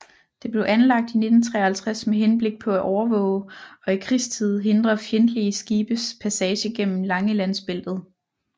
Det blev anlagt i 1953 med henblik på at overvåge og i krigstid hindre fjendtlige skibes passage gennem Langelandsbæltet